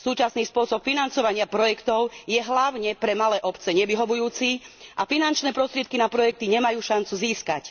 Súčasný spôsob financovania projektov je hlavne pre malé obce nevyhovujúci a finančné prostriedky na projekty nemajú šancu získať.